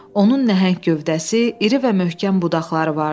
Onun nəhəng gövdəsi, iri və möhkəm budaqları vardı.